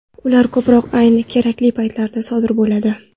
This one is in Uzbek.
Ular ko‘proq ayni kerakli paytda sodir bo‘ladi.